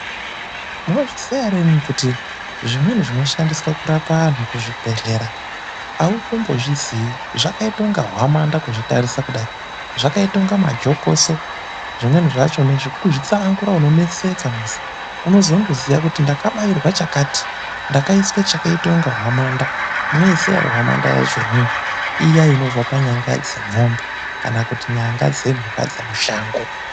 Munozviziya ere imwimwi kuti zvimweni zvinoshandiswa kurapa antu kuzvibhehlera autombozviziyi. Zvakaite kunge hwamanda kuzvitarisa kudai, zvakaite kunge majokoso zvimweni zvacho kuzvitsanangura unotoneseka. Unozondoziya kuti ndakabairwe chakati, ndakaiswe chakaite kunge hwamanda. Munoiziya ere hwamanda yacho imwimwi? lya inobve panyanga dzemwombe kana kuti nyanga dzemhuka dzemushango.